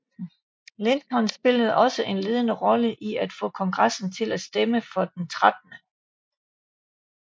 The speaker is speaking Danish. Lincoln spillede også en ledende rolle i at få Kongressen til at stemme for den 13